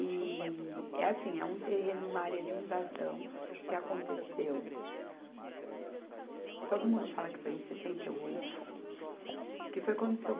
E é assim, é um terreno, uma área de invasão que aconteceu, todo mundo fala que foi em sessenta e oito, que foi quando o Seu